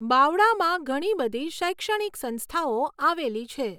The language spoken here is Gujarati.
બાવળામાં ઘણી બઘી શૈક્ષણીક સંસ્થાઓ આવેલી છે.